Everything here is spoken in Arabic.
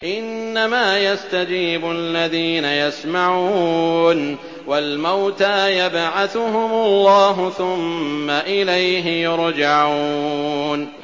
۞ إِنَّمَا يَسْتَجِيبُ الَّذِينَ يَسْمَعُونَ ۘ وَالْمَوْتَىٰ يَبْعَثُهُمُ اللَّهُ ثُمَّ إِلَيْهِ يُرْجَعُونَ